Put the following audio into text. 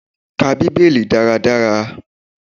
Ká Bíbélì dáradára.